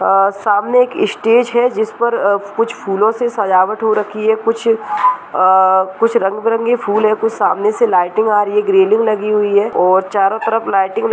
आ सामने एक स्टेज है | जिसपर अ कुछ फूलों से सजावट हो रखी है | कुछ आ कुछ रंग-बिरंगे फूल हैं | कुछ सामने से लाइटिंग आ रही है | ग्रीलिंग लगी हुई है और चारों तरफ लाइटिंग ल --